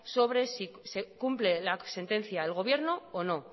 sobre si se cumple la sentencia el gobierno o no